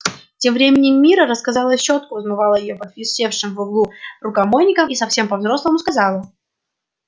тем временем мирра разыскала щётку вымыла её под висевшим в углу рукомойником и совсем по взрослому сказала